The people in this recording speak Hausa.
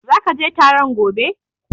Are you going to the meeting tomorrow?